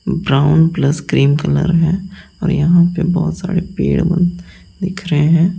Brown plus cream colour है और यहां पे बहुत सारे पेड़ बन दिख रहे हैं।